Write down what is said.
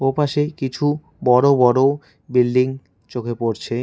ওপাশে কিছু বড় বড় বিল্ডিং চোখে পড়ছে।